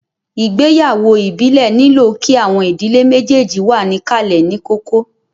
Ìgbéyàwó ìbílẹ̀ nílò kí àwọn ìdílé méjèjì wà níkàlẹ̀ ní kókó